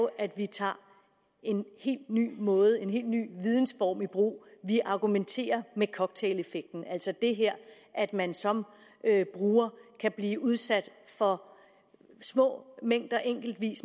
at vi tager en helt ny måde en helt ny vidensform i brug vi argumenterer med cocktaileffekten altså det her at man som bruger kan blive udsat for små mængder